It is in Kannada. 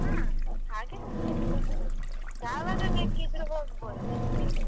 ಹಾ ಹಾಗೆ ಬಿಡ್ತಾರೆ ತೊಂದ್ರೆ ಇಲ್ಲ, ಯಾವಾಗ ಬೇಕಿದ್ರೂ ಹೊಗ್ಬೋದು ತೊಂದ್ರೆ ಇಲ್ಲ.